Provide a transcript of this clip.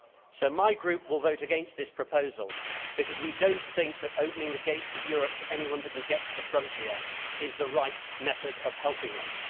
So my Group will vote against this proposal because we do not think that opening the gates of Europe to anyone that can get to the frontier is the right method of helping them.